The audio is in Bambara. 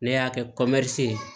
Ne y'a kɛ ye